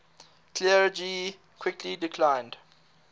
clergy quickly declined